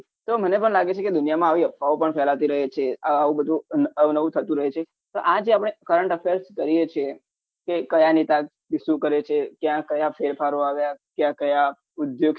તો મને પણ લાગ્યું કે દુનિયામાં આવી અફવાઓ પર ફેલાતી રહી છે આવું બધું અવ નવું થતું રહે છે તો આજે આપને current affairs કરીએ છીએ કે કયા નેતા શું શું કરે છે ક્યાં કયા ફેરફારો આવ્યા ક્યાં કયા ઉદ્યોગ